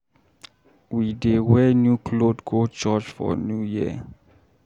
We dey wear new clot go church for New Year.